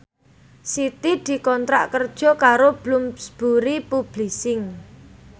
Siti dikontrak kerja karo Bloomsbury Publishing